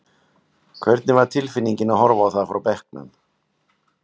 Hvernig var tilfinningin að horfa á það frá bekknum?